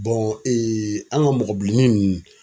an ka mɔgɔ bilennin nunnu